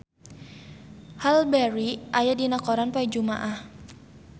Halle Berry aya dina koran poe Jumaah